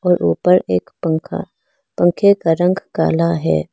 ऊपर एक पंखा पंखे का रंग काला है।